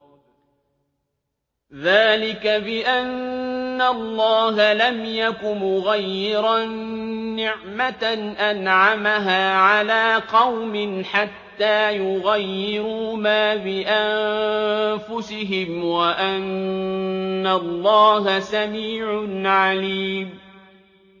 ذَٰلِكَ بِأَنَّ اللَّهَ لَمْ يَكُ مُغَيِّرًا نِّعْمَةً أَنْعَمَهَا عَلَىٰ قَوْمٍ حَتَّىٰ يُغَيِّرُوا مَا بِأَنفُسِهِمْ ۙ وَأَنَّ اللَّهَ سَمِيعٌ عَلِيمٌ